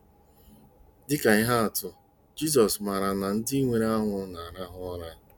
Dị ka ihe atụ, Jizọs màrà na ndị nwụrụ anwụ ‘na-arahụ ụra.